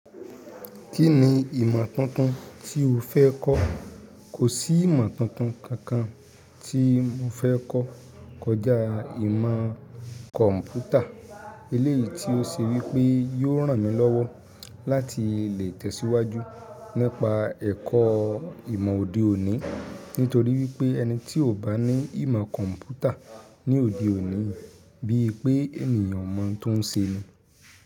Kí ni ìmọ̀ tuntun tí o fẹ́ kọ́? Kò sí ìmọ̀ tuntun kankan tí mo fẹ́ kọ́ kọjá ìmọ̀ kọ̀mpútà eléyìí tí ó ṣe wípé yóò ràn mí lọ́wọ́ láti lè tẹ̀síwájú nípa ẹ̀kọ́ ìmọ̀ òde òní nítorí wípé ẹni tí ò bá ní ìmọ̀ kọ̀mpútà ní òde òní, bí i pé ènìyàn o mọ̀ tó ń ṣe ni.